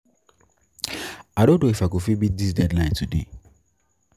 I no know if I go fit meet dis deadline today.